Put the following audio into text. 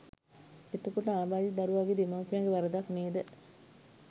එතකොට ආබාධිත දරුවාගේ දෙමව්පියන්ගෙ වරදක් නේද